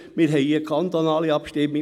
Wir haben hier eine kantonale Abstimmung.